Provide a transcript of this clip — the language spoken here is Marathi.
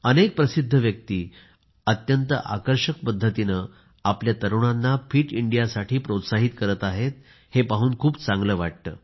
अनेक प्रसिद्ध व्यक्ती अत्यंत आकर्षक पद्धतीने आपल्या तरुणांना फिट इंडियासाठी प्रोत्साहित करत आहेत हे पाहून मला खूप चांगले वाटते